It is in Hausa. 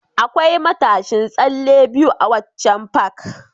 Akwai matashin tsalle biyu a waccan Park